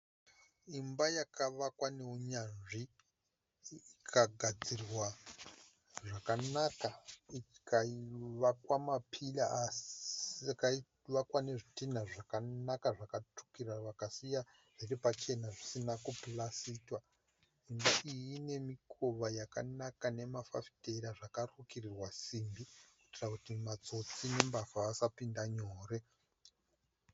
Imba yakavakwa nehunyanzvi ikagadzirwa zvakanaka. I kavakwa ma pillar ikavakwa nezvidhinha zvakanaka zvakatsvukira vakasiya zviri pachena zvisina kupurasitiwa. Imba iyi ine mikova yakanaka nemafafitera zvakarukirirwa simbi kuitira kuti matsotsi nembavha vasa pinda nyore.